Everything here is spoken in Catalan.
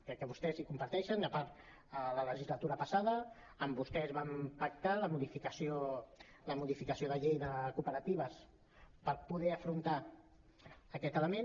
crec que vostès ho comparteixen a part a la legislatura passada amb vostès vam pactar la modificació de la llei de cooperatives per poder afrontar aquest element